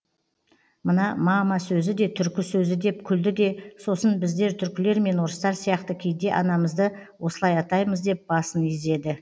мына мама сөзі де түркі сөзі деп күлді де сосын біздер түркілер мен орыстар сияқты кейде анамызды осылай атаймыз деп басын изеді